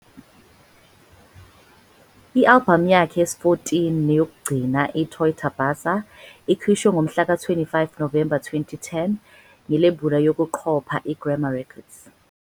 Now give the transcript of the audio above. I-albhamu yakhe yesi-14 neyokugcina, "iToita Basa", ikhishwe ngomhlaka-25 Novemba 2010 ngelebula yokuqopha iGrama Records.